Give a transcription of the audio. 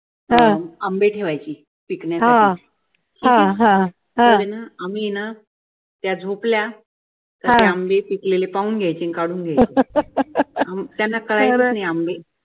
आंबे ठेवायची पिकण्यासाठी तर ये ना आम्ही ये ना ना कळायचंच नाही आंबे झोपल्या का ते आंबे पिकलेले पाहुन घेयचे आणि काढून घेयचे हम्म त्याना कळायचंच नाही आंबे